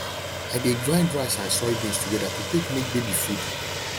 i de grind rice and soybeans together to take make baby food